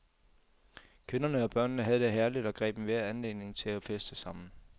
Kvinderne og børnene havde det herligt og greb enhver anledning til at feste sammen.